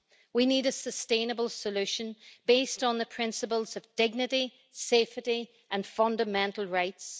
We need a sustainable solution based on the principles of dignity, safety and fundamental rights.